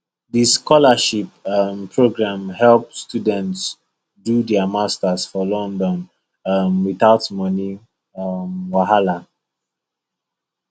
the scholarship um program help students do their masters for london um without money um wahala